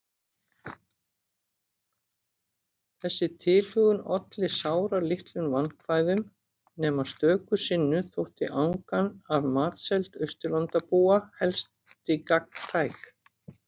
Þessi tilhögun olli sáralitlum vandkvæðum- nema stöku sinnum þótti angan af matseld Austurlandabúa helsti gagntæk.